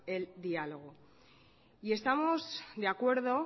el diálogo y estamos de acuerdo